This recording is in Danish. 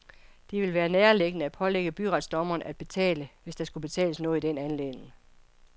Det ville være nærliggende at pålægge byretsdommeren at betale, hvis der skulle betales noget i den anledning.